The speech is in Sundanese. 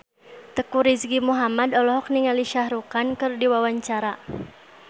Teuku Rizky Muhammad olohok ningali Shah Rukh Khan keur diwawancara